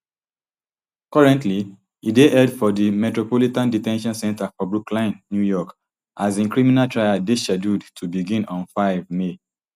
currently e dey held for di metropolitan de ten tion center for brooklyn new york as im criminal trial dey scheduled to begin on five may